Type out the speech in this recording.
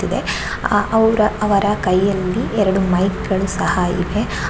ತ್ತಿದೆ ಆಹ್ ಅವ್ರ ಅವರ ಕೈಯಲ್ಲಿ ಎರಡು ಮೈಕ್ ಗಳು ಸಹ ಇವೆ.